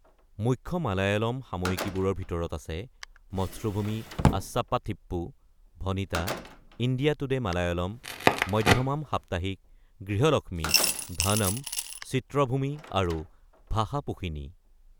মুখ্য মালায়ালম সাময়িকীবোৰৰ ভিতৰত আছে মথ্ৰুভূমি আজচাপ্পাথিপ্পু, ভনিতা, ইণ্ডিয়া টুডে মালায়ালম, মধ্যমাম সাপ্তাহিক, গৃহলক্ষ্মী, ধনম, চিত্ৰভূমি, আৰু ভাষাপোশিনী।